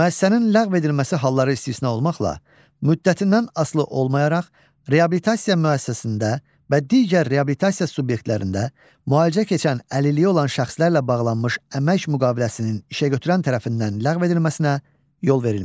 Müəssisənin ləğv edilməsi halları istisna olmaqla, müddətindən asılı olmayaraq reabilitasiya müəssisəsində və digər reabilitasiya subyektlərində müalicə keçən əlilliyi olan şəxslərlə bağlanmış əmək müqaviləsinin işəgötürən tərəfindən ləğv edilməsinə yol verilmir.